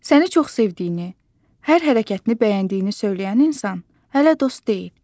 Səni çox sevdiyini, hər hərəkətini bəyəndiyini söyləyən insan hələ dost deyil.